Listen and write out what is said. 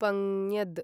पंज्ञद्